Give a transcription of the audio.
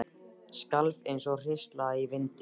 Skalf eins og hrísla í vindi.